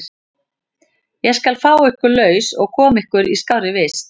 Ég skal fá ykkur laus og koma ykkur í skárri vist.